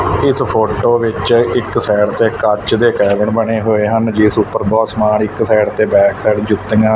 ਇਸ ਫੋਟੋ ਵਿੱਚ ਇੱਕ ਸਾਈਡ ਤੇ ਕੱਚ ਦੇ ਕੈਬਨ ਬਣੇ ਹੋਏ ਹਨ ਜਿਸ ਉੱਪਰ ਬਹੁਤ ਸਮਾਨ ਇੱਕ ਸਾਈਡ ਤੇ ਬੈਕ ਸਾਈਡ ਜੁੱਤੀਆਂ--